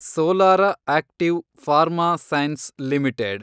solar active pharma sciences limited